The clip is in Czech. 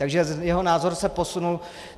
Takže jeho názor se posunul.